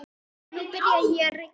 Nú byrjaði að rigna.